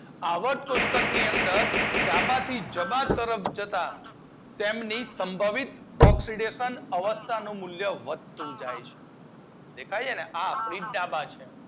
આવર કોષ્ટક ની અંદર ડાબા થી જબા તરફ જતાં તેની સંભવિત ઓક્સીડેશન અવસ્થા નું મૂલ્ય વધી જાય છે. દેખાય છે ને? આ આપડી ડાબા છે.